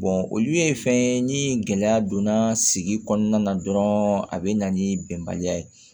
olu ye fɛn ye ni gɛlɛya donna sigi kɔnɔna na dɔrɔn a bɛ na ni bɛnbaliya ye